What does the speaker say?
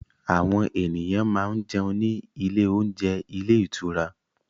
Àwọn ènìyàn máa ń jẹun ní ilé oúnjẹ ilé ìtura